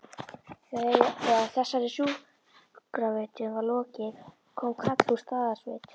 Þegar þessari sjúkravitjun var lokið kom kall úr Staðarsveit.